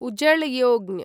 उजळ योजना